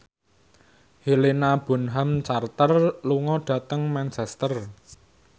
Helena Bonham Carter lunga dhateng Manchester